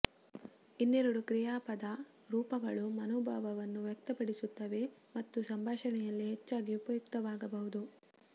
ಇನ್ನೆರಡು ಕ್ರಿಯಾಪದ ರೂಪಗಳು ಮನೋಭಾವವನ್ನು ವ್ಯಕ್ತಪಡಿಸುತ್ತವೆ ಮತ್ತು ಸಂಭಾಷಣೆಯಲ್ಲಿ ಹೆಚ್ಚಾಗಿ ಉಪಯುಕ್ತವಾಗಬಹುದು